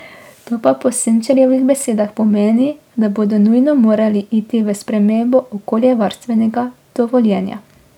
To pa po Senčarjevih besedah pomeni, da bodo nujno morali iti v spremembo okoljevarstvenega dovoljenja.